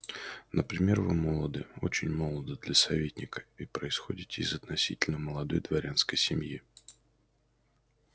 например вы молоды очень молоды для советника и происходите из относительно молодой дворянской семьи